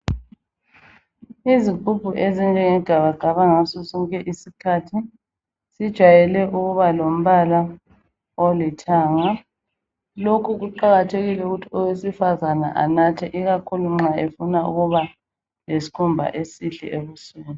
Izigubhu ezinjenge gabagaba ngasosonke isikhathi zijayele ukuba lombala olithanga. Lokhu kuqakathekile ukuthi owesifazana anathe ikakhulu nxa efuna ukuba lesikhumba esihle emzimbeni.